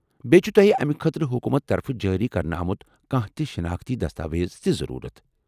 بییہ چُھ تو٘ہہِ امہِ خٲطرٕ حکوٗمتہٕ طرفہٕ جٲری کرنہٕ آمُت کانٛہہ تہ شناختی دستاویز تہِ ضرورت ۔